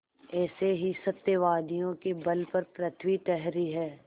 ऐसे ही सत्यवादियों के बल पर पृथ्वी ठहरी है